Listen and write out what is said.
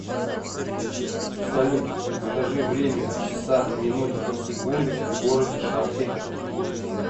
салют скажи время в часах минутах и секундах в городе шахты